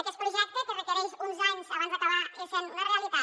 aquest projecte que re·quereix uns anys abans d’acabar essent una realitat